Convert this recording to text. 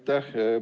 Aitäh!